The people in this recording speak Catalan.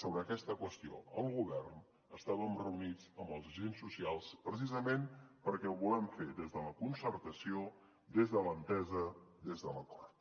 sobre aquesta qüestió el govern estàvem reunits amb els agents socials precisament perquè ho volem fer des de la concertació des de l’entesa des de l’acord